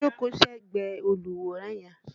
Jókóò ségbẹ̀ẹ́ olùwòran yẹn!